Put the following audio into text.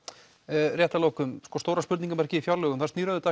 rétt að lokum stóra spurninginamerkið í fjárlögum það snýr auðvitað